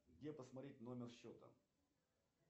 где посмотреть номер счета